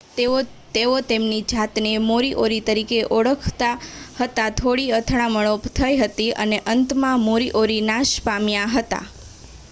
તેઓ તેમની જાતને મોરીઓરી તરીકે ઓળખાવતા હતા થોડી અથડામણો થઇ હતી અને અંતમાં મોરીઓરી નાશ પામ્યા હતા